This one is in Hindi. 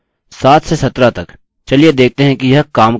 7 से 17 तक चलिए देखते हैं कि यह काम करता है या नहीं